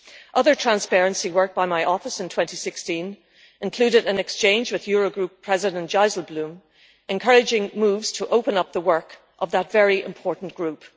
Other transparency work by my office in 2016 included an exchange with Eurogroup President Dijsselbloem, encouraging moves to open up the work of that very important group.